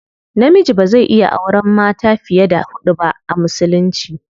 Namiji bazai iya auren mata fiye da hudu ba a musulunci.